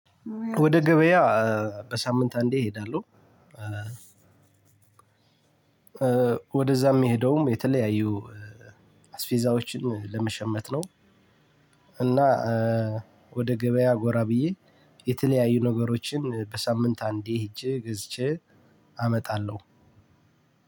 ወደ ገበያ በሳምንት አንዴ እሄዳለሁ። ወደዛ ምሄደውም የተለያዩ አስፊዛዎችን ለመሸመት ነው። እና ወደ ገበያ ጎራ ብዬ የተለያዩ ነገሮችን በሳምንት አንዴ ሂጄ ገዝቼ አመጣለሁ።